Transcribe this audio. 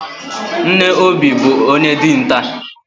Nne Obi bụ onye dinta.